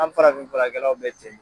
An farafin furakɛlaw bɛ ten!